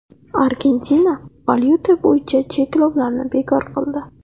Argentina valyuta bo‘yicha cheklovlarni bekor qildi .